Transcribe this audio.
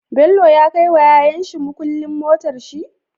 Bello ya kai wa yayan shi mukulin motar shi?